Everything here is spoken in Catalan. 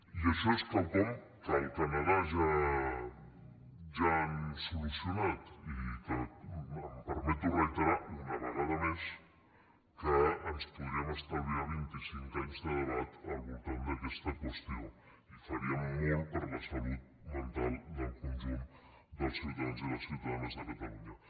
i això és quelcom que al canadà ja han so·lucionat i que em permeto reiterar una vegada més que ens podríem estalviar vint·i·cinc anys de debat al vol·tant d’aquesta qüestió i faríem molt per a la salut mental del conjunt dels ciutadans i les ciutadanes de catalunya